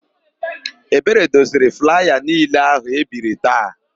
Ebere doziri flaya niile áhụ̀ e biri taa.